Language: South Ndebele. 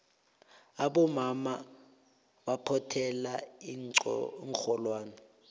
abomama baphothela iinxholwane